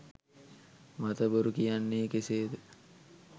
මත බොරු කියන්නේ කෙසේද?